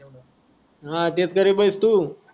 हा तेच गरीब हाई तू